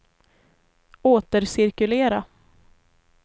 återcirkulera